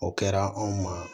O kɛra anw ma